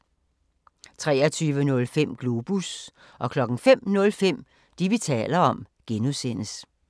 23:05: Globus 05:05: Det, vi taler om (G)